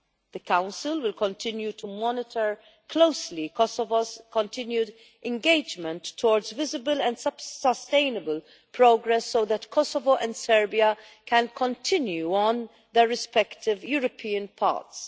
The Council will continue to monitor closely Kosovo's continued engagement towards visible and sustainable progress so that Kosovo and Serbia can continue on their respective European paths.